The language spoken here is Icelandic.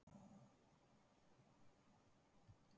Jóhann: Hvað er svo best á borðinu?